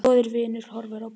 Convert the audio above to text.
Góður vinur horfinn á braut.